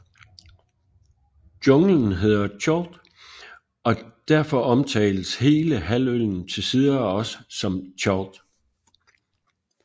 Junglen hedder Chult og derfor omtales hele halvøen til tider også som Chult